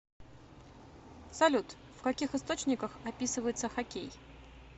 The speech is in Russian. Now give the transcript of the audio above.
салют в каких источниках описывается хоккей